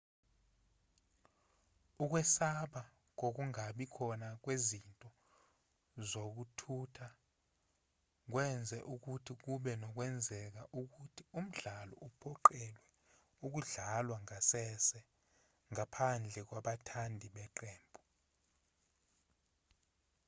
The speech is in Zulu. ukwesaba kokungabi khona kwezinto zokuthutha kwenze ukuthi kube nokwenzeka ukuthi umdlalo uphoqelelwe ukudlalwa ngasese ngaphandle kwabathandi beqembu